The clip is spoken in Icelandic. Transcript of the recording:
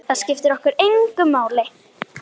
Það skiptir okkur engu máli.